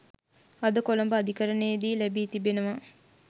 අද කොළඹ අධිකරණයේදී ලැබී තිබෙනවා